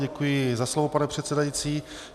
Děkuji za slovo, pane předsedající.